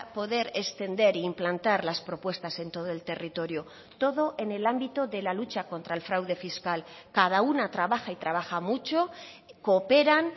poder extender e implantar las propuestas en todo el territorio todo en el ámbito de la lucha contra el fraude fiscal cada una trabaja y trabaja mucho cooperan